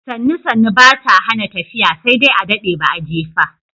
Sannu sannu ba ta hana tafiya sai dai adaɗe ba a jefa.